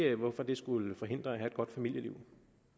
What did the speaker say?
ikke hvorfor det skulle forhindre at have et godt familieliv